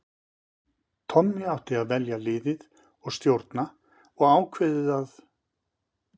Tommi átti að velja liðið og stjórna og ákveðið að